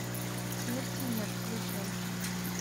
смерти нет включай